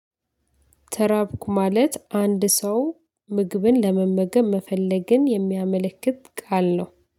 ተራብኩ ማለት አንድ ሰው ምግብን ለመመገብ መፈለግን የሚያመለክት ቃል ነው